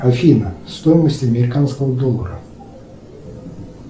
афина стоимость американского доллара